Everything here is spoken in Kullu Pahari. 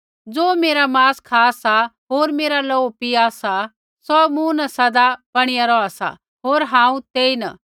ज़े मेरा मांस खा सा होर मेरा लोहू पीया सा सौ मूँ न सदा बणिया रौहा सा होर हांऊँ तेईन